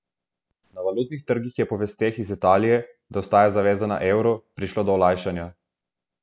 Na valutnih trgih je po vesteh iz Italije, da ostaja zavezana evru, prišlo do olajšanja.